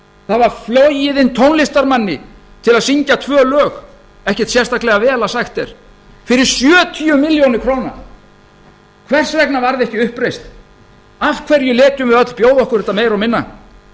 það var flogið inn tónlistarmann til að syngja tvö lög ekkert sérstaklega vel að sagt er fyrir sjötíu milljónir króna hvers vegna varð ekki uppreisn af hverju létum við öll bjóða okkur þetta meira og minna